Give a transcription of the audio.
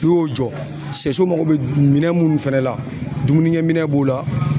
N'i y'o jɔ ,sɛso mako be minɛn munnu fana la dumunikɛminɛn b'o la